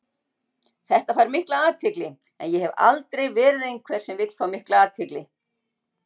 Þetta fær mikla athygli en ég hef aldrei verið einhver sem vill fá mikla athygli.